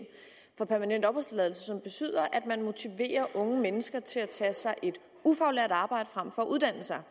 for permanent opholdstilladelse som betyder at man motiverer unge mennesker til at tage sig et ufaglært arbejde frem for at uddanne sig